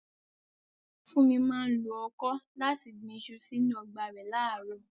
Funmi máa ń lo ọkọ́ láti gbin iṣu sínú ọgbà rẹ̀ láàárọ̀.